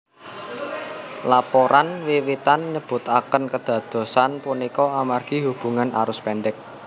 Laporan wiwitan nyebutaken kadadosan punika amargi hubungan arus pendek